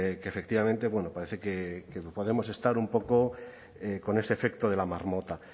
que que efectivamente bueno parece que podemos estar un poco con ese efecto de la marmota